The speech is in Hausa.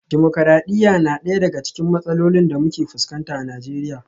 Dimokradiyya na daya daga cikin matsalolin da muke fuskanta a Najeriya